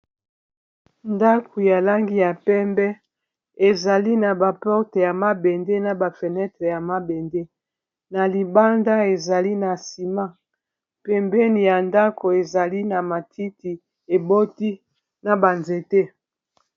ndako ya langi ya pembe ezali na baporte ya mabende na bafenetre ya mabende na libanda ezali na nsima pembeni ya ndako ezali na matiti eboti na banzete